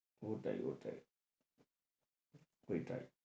ওটাই ওটাই ওইটাই।